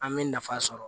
An bɛ nafa sɔrɔ